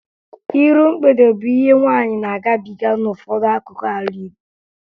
Iru mgbede bụ ihe nwaanyị na-agabiga n'ụfọdụ akụkụ ala Igbo